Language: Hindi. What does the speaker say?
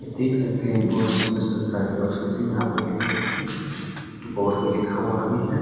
यह देख सकते हैं बहुत सुन्दर सरकारी ऑफिस है यहाँ पे देख सकते हैं इसके बोर्ड पर लिखा हुआ भी है ।